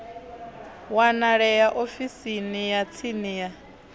wanalea ofisini ya tsini ya